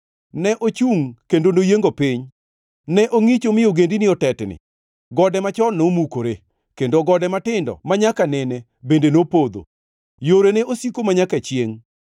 Ne ochungʼ kendo noyiengo piny, ne ongʼicho mi ogendini otetni. Gode machon nomukore kendo gode matindo manyaka nene bende nopodho. Yorene osiko manyaka chiengʼ.